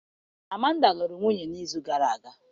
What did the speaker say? amanda lụrụ nwunye n'izu gara aga